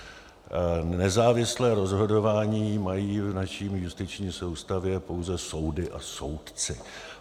Nezávislé rozhodování mají v naší justiční soustavě pouze soudy a soudci.